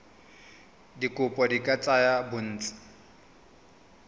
dikopo di ka tsaya bontsi